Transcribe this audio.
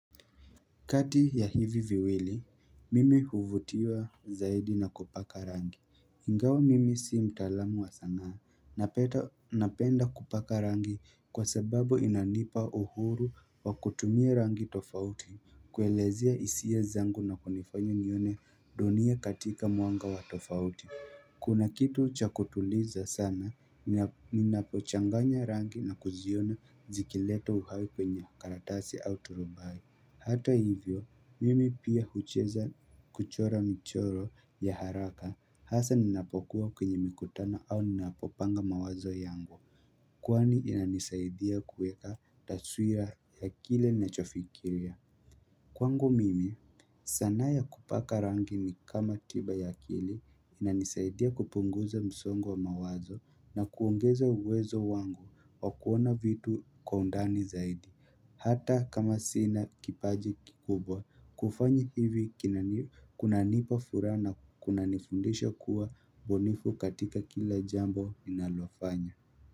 Kati ya hivi viwili, mimi huvutiwa zaidi na kupaka rangi. Ingawa mimi si mtaalamu wa sanaa, napenda kupaka rangi kwa sababu inanipa uhuru wa kutumia rangi tofauti, kuelezea hisia zangu na kunifanya nione dunia katika mwanga wa tofauti. Kuna kitu cha kutuliza sana, ninapochanganya rangi na kuziona zikileta uhai kwenye karatasi au turubai. Hata hivyo, mimi pia huweza kuchora michoro ya haraka hasa ninapokuwa kwenye mikutano au ninapopanga mawazo yangu. Kwani inanisaidia kuweka taswira ya kile ninachofikiria. Kwangu mimi, sanaa ya kupaka rangi ni kama tiba ya akili inanisaidia kupunguza msongo wa mawazo na kuongeza uwezo wangu wa kuona vitu kwa undani zaidi. Hata kama sina kipaji kikubwa kufanya hivi kunanipa furaha na kunanifundisha kuwa ubunifu katika kila jambo ninalofanya.